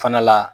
Fana la